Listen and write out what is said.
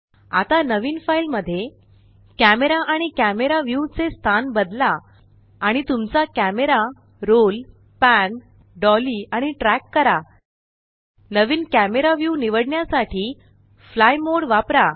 आता नवीन फाइल मध्ये कॅमरा आणि कॅमरा व्यू चे स्थान बदला आणि तुमचा कॅमरा रोल पॅन डॉली आणि ट्रॅक करा नवीन कॅमरा व्यू निवडण्यासाठी फ्लाय मोड वापरा